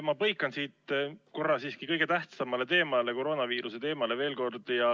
Ma põikan siit korraks siiski kõige tähtsamale teemale, koroonaviiruse teemale veel kord.